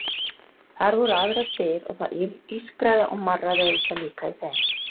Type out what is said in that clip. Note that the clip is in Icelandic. Þar voru aðrar dyr og það ískraði og marraði auðvitað líka í þeim.